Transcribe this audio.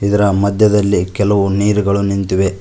ಇದರ ಮಧ್ಯದಲ್ಲಿ ಕೆಲವು ನೀರುಗಳು ನಿಂತಿವೆ.